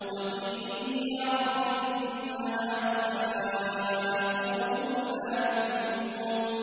وَقِيلِهِ يَا رَبِّ إِنَّ هَٰؤُلَاءِ قَوْمٌ لَّا يُؤْمِنُونَ